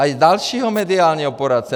A i dalšího mediálního poradce.